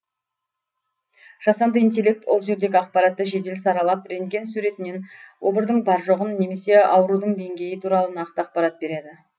жасанды интеллект ол жердегі ақпаратты жедел саралап рентген суретінен обырдың бар жоғын немесе аурудың деңгейі туралы нақты ақпарат береді